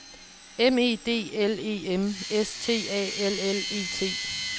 M E D L E M S T A L L E T